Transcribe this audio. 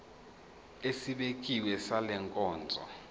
esibekiwe sale nkonzo